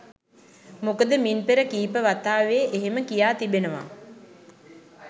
මොකද මින් පෙර කීප වතාවේ එහෙම කියා තිබෙනවා.